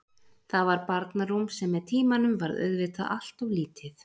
Það var barnarúm sem með tímanum varð auðvitað allt of lítið.